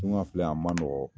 Tunga filɛ a man nɔgɔ